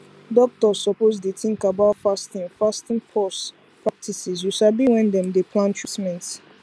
doktors suppose dey tink about fasting fasting pause practices you sabi wen dem dey plan treatment